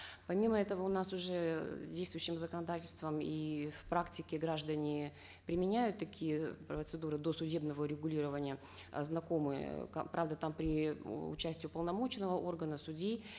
помимо этого у нас уже действующим законодательством и в практике граждане применяют такие процедуры досудебного урегулирования э знакомые правда там при участии уполномоченного органа судьи